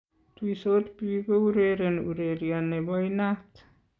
Tuisot biik koureren urerie ne bo inaat.